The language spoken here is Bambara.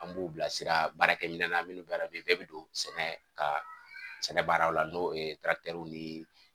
An b'u bilasira baarakɛmin na minnu bɛ la bɛɛ bɛ don sɛnɛ ka sɛnɛ baararaw la n'o ni